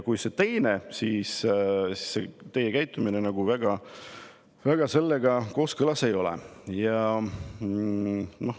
Kui on see teine, siis teie käitumine selle väga kooskõlas ei ole.